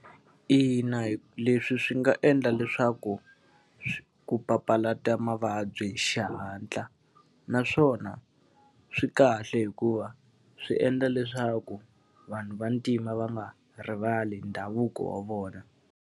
Ina leswi swi nga endla leswaku ku papalata mavabyi hi xihatla. Naswona swi kahle hikuva, swi endla leswaku vanhu vantima va nga rivali hi ndhavuko wa vona.